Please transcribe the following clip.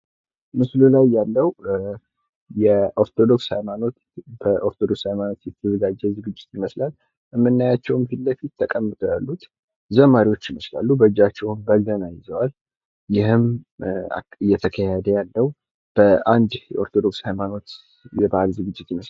ምስሉ ላይ ያለዉ የኦርቶዶክስ ሃይማኖት ፤ በኦርቶዶክስ ሃይማኖት የተዘጋጀ ዝግጅት ይመስላል ፤ ምናያቸዉም ፊት ለፊት ተቀምጠው ያሉት ዘማሪዎች ይመስላሉ ፤ በእጃቸውም በገና ይዘዋል ይህም እየተካሄደ ያለዉ በአንድ የኦርቶዶክስ ሃይማኖት የበአል ዝግጅት ይመስላል ።